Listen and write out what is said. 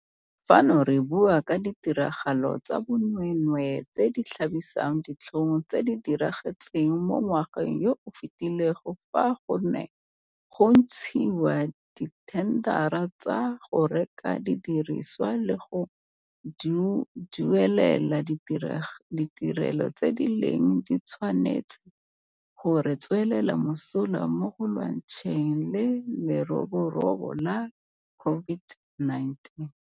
Fano re bua ka ditiragalo tsa bonweenwee tse di tlhabisang ditlhong tse di diragetseng mo ngwageng yo o fetileng fa go ne go ntshiwa dithendara tsa go reka didirisiwa le go duelela ditirelo tse di neng di tshwanetse go re tswela mosola mo go lwantshaneng le leroborobo la COVID-19.